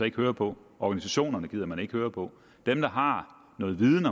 ikke høre på organisationerne man gider ikke høre på dem der har noget viden